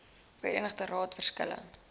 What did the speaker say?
verenigde raad verskille